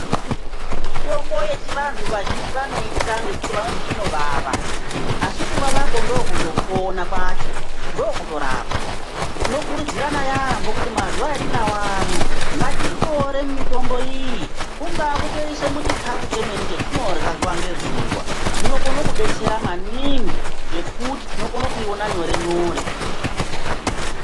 Mitombo yechiantu vazhinji vanotya ngekuti vanoti inovava. Asi kutowawakwo ndiko kutopona kwacho ndokutorapa. Tinokurudzirana yampho kuti mazuwa etiinawo ano ngatiitore mitombo iyi kungaa kutoise chemene muchikafu chemwne chetinorya zuwa ngezuwa, zvinokona kubatsira maningi nokuti togona kuyiona nyore nyore.